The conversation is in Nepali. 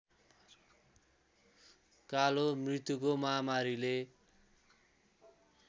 कालो मृत्युको महामारीले